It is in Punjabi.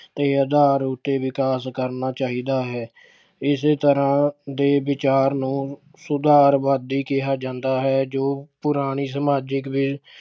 ਦੇ ਉੱਦਾਰ ਉੱਤੇ ਵਿਕਾਸ ਕਰਨਾ ਚਾਹੀਦਾ ਹੈ। ਇਸੇ ਤਰ੍ਹਾਂ ਦੇ ਵਿਚਾਰ ਨੂੰ ਸੁਧਾਰਵਾਦੀ ਕਿਹਾ ਜਾਂਦਾ ਹੈ ਜੋ ਪੁਰਾਣੀ ਸਮਾਜਿਕ ਵਿ ਅਹ